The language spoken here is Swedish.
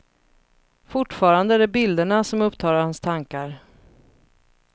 Fortfarande är det bilderna som upptar hans tankar.